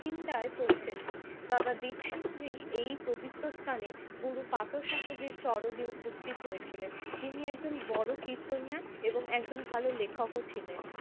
চিন্তায় পৌঁছেছি, বাবা দীপসিং জি এই পবিত্র স্থানে গুরু পাথসহজীর চরণে উপস্থিত হয়েছিলেন। তিনি একজন বড়ো কীর্তনিয়া এবং একজন ভালো লেখকও ছিলেন